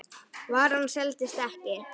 Varan seldist ekki.